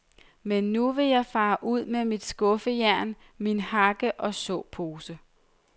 Men nu vil jeg fare ud med mit skuffejern, min hakke og såposen.